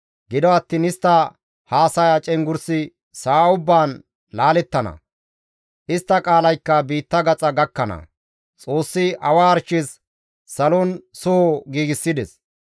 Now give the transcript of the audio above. Gido attiin istta haasaya cenggurssi sa7a ubbaan laalettana; istta qaalaykka biitta gaxa gakkana. Xoossi arshes salon soho giigsides.